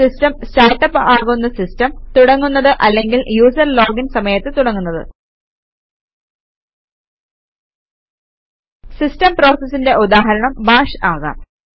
system start up ആകുന്ന system തുടങ്ങുന്നത് അല്ലെങ്കിൽ യൂസര് ലോഗിൻ സമയത്ത് തുടങ്ങുന്നത് സിസ്റ്റം പ്രോസസിന്റെ ഉദാഹരണം ബാഷ് ആകാം